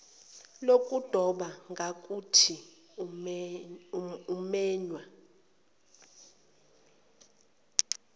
lokudoba ngakuthi umenywe